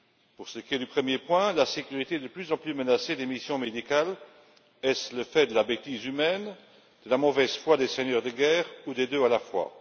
Pour ce qui est du premier point la sécurité de plus en plus menacée des missions médicales est ce le fait de la bêtise humaine, de la mauvaise foi des seigneurs de guerre ou des deux à la fois?